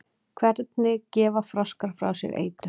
hvernig gefa froskar frá sér eitur